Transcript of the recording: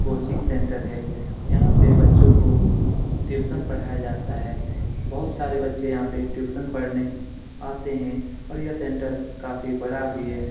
Coaching centre है यहां पे बच्चों को ट्यूशन पढ़ाया जाता है बहुत सारे बच्चे यहां पे ट्यूशन पढ़ाने आते हैं और यह सेंटर काफी बड़ा भी है।